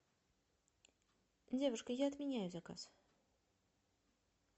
девушка я отменяю заказ